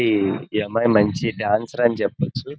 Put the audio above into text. ఈ అమ్మాయి మంచి డాన్సర్ అని చెప్పవచ్చు.